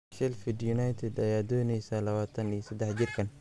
Sheffield United ayaa dooneysa 23 jirkaan.